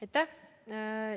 Aitäh!